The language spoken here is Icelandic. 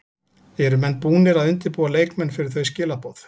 Eru menn búnir að undirbúa leikmenn fyrir þau skilaboð?